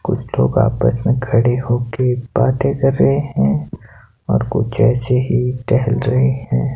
कुछ लोग आपस में खड़े हो के बातें कर रहे हैं और कुछ ऐसे ही टहल रहे हैं।